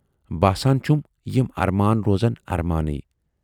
باسان چھُم یِم ارمان روزن ارمانٕے۔